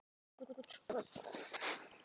Eru vötn á tunglinu?